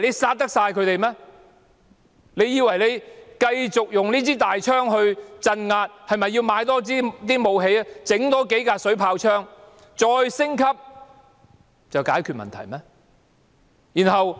政府以為繼續用槍來鎮壓，將裝備升級，添置武器，額外添置數輛水炮車，便可以解決問題嗎？